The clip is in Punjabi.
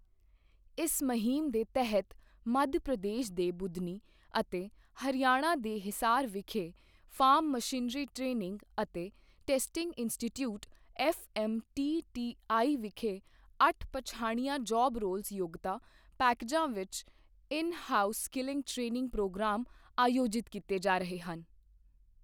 ਇਸ ਮੁਹਿੰਮ ਦੇ ਤਹਿਤ, ਮੱਧ ਪ੍ਰਦੇਸ਼ ਦੇ ਬੁਦਨੀ ਅਤੇ ਹਰਿਆਣਾ ਦੇ ਹਿਸਾਰ ਵਿਖੇ ਫਾਰਮ ਮਸ਼ੀਨਰੀ ਟ੍ਰੇਨਿੰਗ ਅਤੇ ਟੈਸਟਿੰਗ ਇੰਸਟੀਟੀਉਟਸ ਐੱਫ਼ਐੱਮਟੀਟੀਆਈ ਵਿਖੇ ਅੱਠ ਪਛਾਣੀਆਂ ਜਾਬ ਰੋਲਜ਼ ਯੋਗਤਾ ਪੈਕੇਜਾਂ ਵਿੱਚ in house skilling training programme ਆਯੋਜਿਤ ਕੀਤੇ ਜਾ ਰਹੇ ਹਨ।